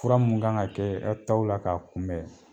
Fura munnu kan ka kɛɛ e taw la k'a kunbɛn